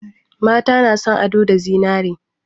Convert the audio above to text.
Mata na son ado da zinare.